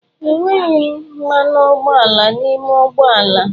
Enweghị mmanụ ụgbọala n'ime ụgbọ ala.